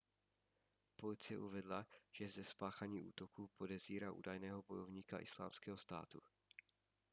policie uvedla že ze spáchání útoku podezírá údajného bojovníka islámského státu